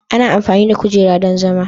ana amfani da kujera don zama.